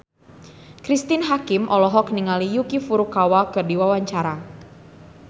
Cristine Hakim olohok ningali Yuki Furukawa keur diwawancara